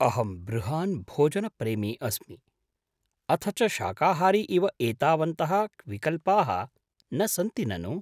अहं बृहान् भोजनप्रेमी अस्मि, अथ च शाकाहारी इव एतावन्तः विकल्पाः न सन्ति ननु।